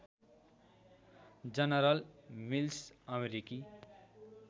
general Mills अमेरिकी